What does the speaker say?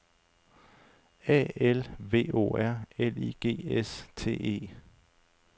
A L V O R L I G S T E